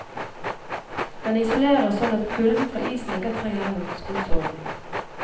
Den isolerer sånn at kulden fra isen ikke trenger gjennom skosålen.